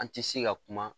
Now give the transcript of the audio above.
An ti se ka kuma